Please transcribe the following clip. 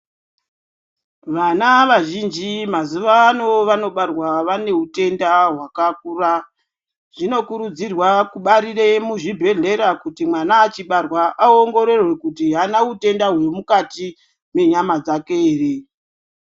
Vana vazhinji mazuvaano vanobarwa vane utenda hwakakura zvinokurudzirwa kubarire muzvibhedhlera kuti mwana achibarwa aongororwe kuti aana utenda huri mukati mwenyama dzake ere.